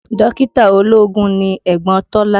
Dókítà ológun ni ẹ̀gbọ́n Tọ́lá